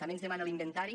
també ens demana l’inventari